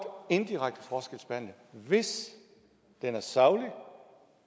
indirekte forskelsbehandle hvis det er sagligt